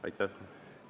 Aitäh!